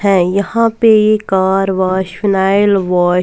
हैं यहाँ पे ही कार वाश फिनायल वाश --